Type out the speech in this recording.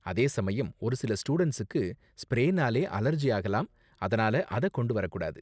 அதே சமயம், ஒரு சில ஸ்டூடண்ட்ஸுக்கு ஸ்ப்ரேனால அலர்ஜி ஆகலாம், அதனால அத கொண்டு வரக் கூடாது.